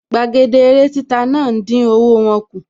Gbàgede eré títa náà dín owó wọ́n kù